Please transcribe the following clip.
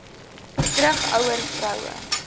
terug ouer vroue